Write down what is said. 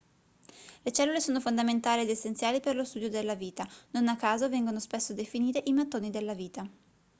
le cellule sono fondamentali ed essenziali per lo studio della vita non a caso vengono spesso definite i mattoni della vita